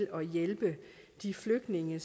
at hjælpe de flygtninge